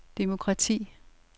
demokrati